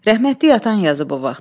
Rəhmətli atan yazıb o vaxt.